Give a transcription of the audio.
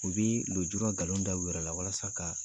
U bi lujura nkalon da u yɛrɛ la walasa ka